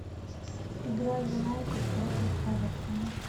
игра юнайтед против эвертон